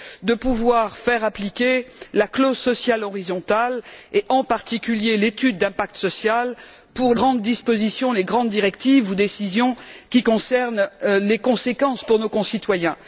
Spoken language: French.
de pouvoir faire appliquer la clause sociale horizontale et, en particulier, l'étude d'impact social pour les grandes dispositions, les grandes directives ou décisions qui comportent des conséquences pour nos concitoyens.